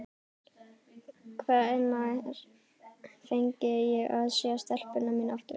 Hvenær fengi ég að sjá stelpuna mína aftur?